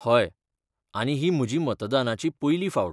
हय, आनी ही म्हजी मतदानाची पयली फावट.